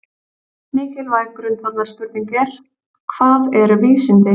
Mikilvæg grundvallarspurning er: Hvað eru vísindi?